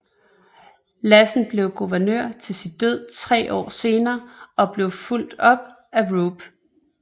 Lassen blev guvernør til sin død tre år senere og blev fulgt af Roop